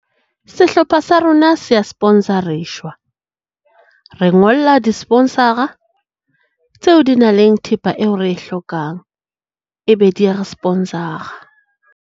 Sehlopha sa rona sea sponsor-reshwa. Re ngolla di-sponsor-ra tseo di nang le thepa eo re e hlokang e be dia re-sponsor-ra.